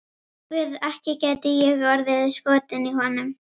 Guð, ekki gæti ég orðið skotin í honum.